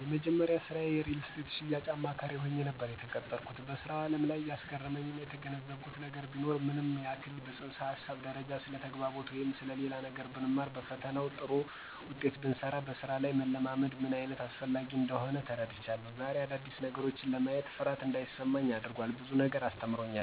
የመጀመሪያዬ ስራ የሪልስቴት የሽያጭ አማካሪ ሆኜ ነበር የተቀጠረኩት። በስራው አለም ላይ ያስገረመኝና የተገነዘብኩት ነገር ቢኖር ምንም ያክል በፅንሰ ሀሳብ ደረጃ ስለተግባቦት ወይም ሌላ ነገር ብንማርና በፈተናውም ጥሩ ብንሰራው በስራ ላይ መለማመድ ምንአይነት አስፈላጊ እንደሆነ ተረድቻለሁ። ዘሬ አዳዲስ ነገሮችን ለማየት ፍርሃት አንዳይሰማኝ አድርጓል፤ ብዙ ነገር አስተምሮኛል።